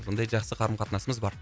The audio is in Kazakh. сондай жақсы қарым қатынасымыз бар